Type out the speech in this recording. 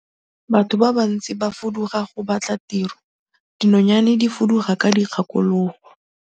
Batho ba bantsi ba fuduga go batla tiro, dinonyane di fuduga ka dikgakologo.